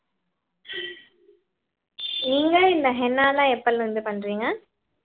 நீங்க இந்த ஹென்னாலாம் எப்பல இருந்து பண்றீங்க?